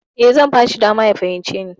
E, zan bashi dama ya fahimce ni.